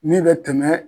Min bɛ tɛmɛ